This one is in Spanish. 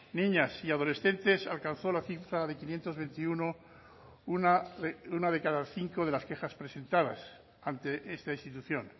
niñas y adolescentes alcanzó la cifra de quinientos veintiuno una de cada cinco de las quejas presentadas ante esta institución